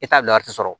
E t'a bila yɔrɔ si sɔrɔ